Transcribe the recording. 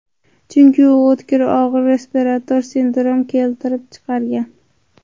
Chunki u o‘tkir og‘ir respirator sindrom keltirib chiqargan.